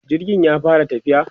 jirgin ya fara tafiya?